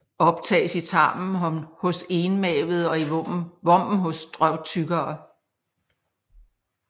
Optages i tarmen hos enmavede og i vommen hos drøvtyggere